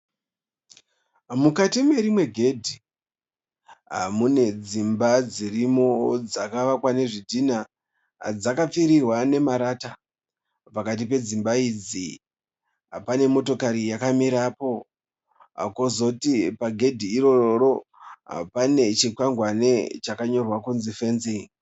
Mukati merimwe gedhi, mune dzimba dzirimo dzakavakwa nezvidhina dzakapfirirwa nemarata. Pakati pedzimba idzi pane motokari yakamirapo, kozoti pagedhi iroro pane chikwangwani chakanyorwa kunzi 'fencing.'